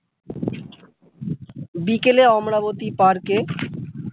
বিকেলে অমরাবতী পার্কে।